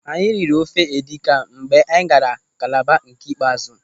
Anyị riri ofe edikan mgbe anyị gaara Kalaba nke ikpeazụ.